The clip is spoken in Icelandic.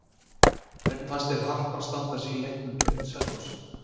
Hvernig fannst þér Harpa standa sig í leiknum gegn Selfossi?